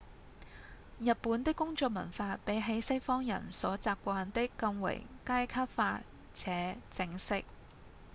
日本的工作文化比起西方人所習慣的更為階級化且正式